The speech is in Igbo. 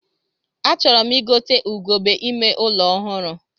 A chọrọ m igote ugegbe ime ụlọ ọhụrụ